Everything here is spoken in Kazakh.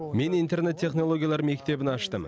мен интернет технологиялар мектебін аштым